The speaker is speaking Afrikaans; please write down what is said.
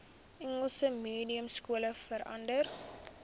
engels mediumskole verander